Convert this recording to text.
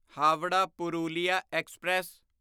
Howrah Purulia express